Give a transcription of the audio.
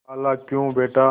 खालाक्यों बेटा